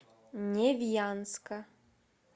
невьянска